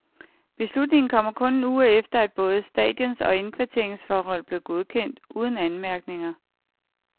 Beslutning kommer kun en uge efter, at både stadions og indkvarteringsforhold blev godkendt uden anmærkninger.